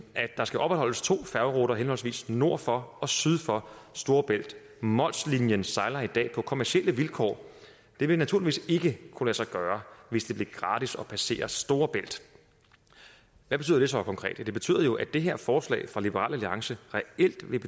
at der skal opretholdes to færgeruter henholdsvis nord for og syd for storebælt mols linien sejler i dag på kommercielle vilkår det vil naturligvis ikke kunne lade sig gøre hvis det blev gratis at passere storebælt hvad betyder det så konkret ja det betyder jo at det her forslag fra liberal alliance reelt ville